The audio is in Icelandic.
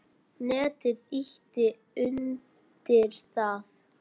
Netið ýti undir það.